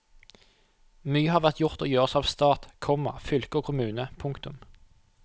Mye har vært gjort og gjøres av stat, komma fylke og kommune. punktum